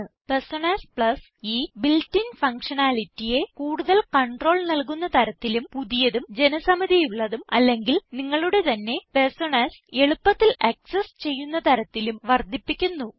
personas plus ഈ built in functionality യെ കൂടുതൽ കണ്ട്രോൾ നല്കുന്ന തരത്തിലും പുതിയതും ജനസമിതിയുള്ളതും അല്ലെങ്കിൽ നിങ്ങളുടെ തന്നെ പെർസോണാസ് എളുപ്പത്തിൽ ആക്സസ് ചെയ്യുന്ന തരത്തിലും വർദ്ധിപ്പിക്കുന്നു